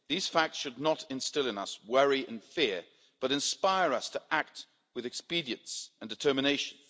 These facts should not instil in us worry and fear, but inspire us to act with expedience and determination.